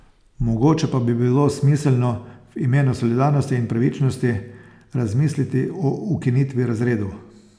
Mogoče pa bi bilo smiselno, v imenu solidarnosti in pravičnosti, razmisliti o ukinitvi razredov.